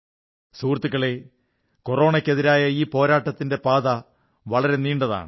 സുഹൃത്തുക്കളേ കൊറോണയ്ക്കെതിരായ ഈ പോരാട്ടത്തിന്റെ പാത വളരെ നീണ്ടതാണ്